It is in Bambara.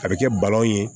A bɛ kɛ balon ye